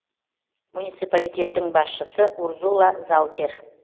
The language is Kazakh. муниципалитеттің басшысы урзула заутер